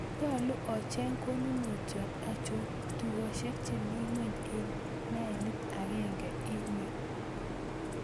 Nyalu acheng konunotiot, achon tugoshek chemi ng'weny en mailit agenge en yu